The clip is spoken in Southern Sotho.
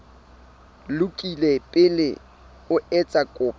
lokile pele o etsa kopo